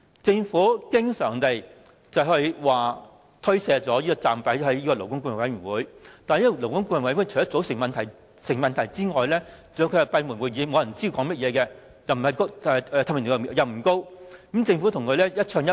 政府經常把責任推卸給勞顧會，但勞顧會除了組成上有問題外，還要是閉門舉行會議的，沒有人知道討論內容，透明度並不高，而政府則跟勞顧會一唱一和。